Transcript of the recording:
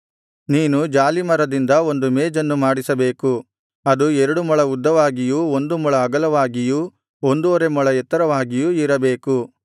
ನೀನು ಜಾಲೀಮರದಿಂದ ಒಂದು ಮೇಜನ್ನು ಮಾಡಿಸಬೇಕು ಅದು ಎರಡು ಮೊಳ ಉದ್ದವಾಗಿಯೂ ಒಂದು ಮೊಳ ಅಗಲವಾಗಿಯೂ ಒಂದುವರೆ ಮೊಳ ಎತ್ತರವಾಗಿಯೂ ಇರಬೇಕು